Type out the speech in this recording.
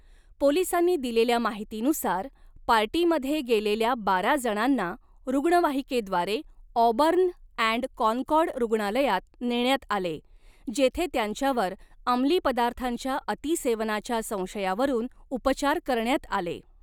पोलिसांनी दिलेल्या माहितीनुसार, पार्टीमध्ये गेलेल्या बारा जणांना रुग्णवाहिकेद्वारे ऑबर्न अॅण्ड कॉनकॉर्ड रुग्णालयात नेण्यात आले, जेथे त्यांच्यावर अमली पदार्थांच्या अतिसेवनाच्या संशयावरून उपचार करण्यात आले.